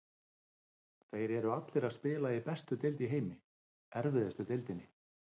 Þeir eru allir að spila í bestu deild í heimi, erfiðustu deildinni.